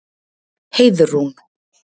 Heiðrún